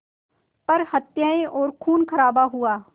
पर हत्याएं और ख़ूनख़राबा हुआ